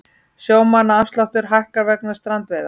Sjómannaafsláttur hækkar vegna strandveiða